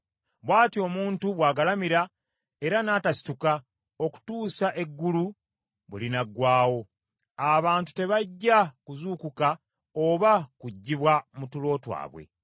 bw’atyo omuntu bw’agalamira, era n’atasituka okutuusa eggulu bwe linaggwaawo, abantu tebajja kuzuukuka oba kuggyibwa mu tulo twabwe.